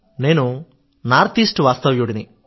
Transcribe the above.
నేను north east వాస్తవ్యుడిని